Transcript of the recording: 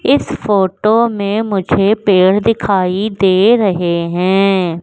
इस फोटो में मुझे पेड़ दिखाई दे रहे हैं।